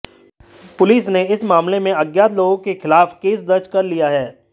police ने इस मामले में अज्ञात लोगों के खिलाफ केस दर्ज कर लिया है